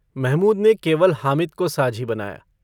महमूद ने केवल हामिद को साझी बनाया।